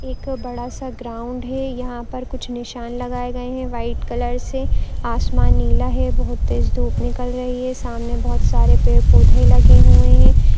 एक बड़ा सा ग्राउंड है यहाँ पर कुछ निशान लगाए गए हैं वाइट कलर से आसमान नीला है बहुत तेज धूप निकल रही है सामने बोहोत सारे पेड़-पौधे लगे हुए हैं।